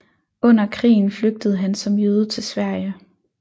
Under krigen flygtede han som jøde til Sverige